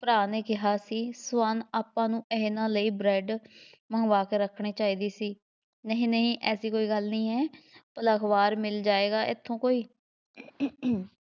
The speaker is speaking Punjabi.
ਭਰਾ ਨੇ ਕਿਹਾ ਸੀ ਸਵਰਨ ਆਪਾਂ ਨੂੰ ਇਹਨਾ ਲਈ bread ਮੰਗਵਾ ਕੇ ਰੱਖਣੀ ਚਾਹੀਦੀ ਸੀ, ਨਹੀਂ ਨਹੀਂ ਐਸੀ ਕੋਈ ਗੱਲ ਨਹੀਂ ਹੈ, ਭਲਾ ਅਖਬਾਰ ਮਿਲ ਜਾਏਗਾ ਇੱਥੋਂ ਕੋਈ